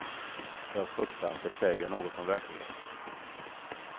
Jag fruktar att det säger något om verkligheten.